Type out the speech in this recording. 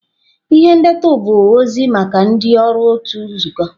Ihe ndetu bụ ozi maka ndị ọrụ otu nzukọ.